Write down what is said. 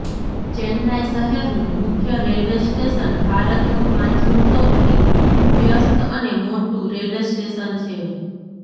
ચેન્નાઈ શહેરનું મુખ્ય railway station ભારતનું પાંચમું સૌથી વ્યસ્ત અને મોટું રેલવે સ્ટેશન છે